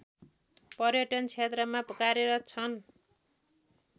पर्यटन क्षेत्रमा कार्यरत छन्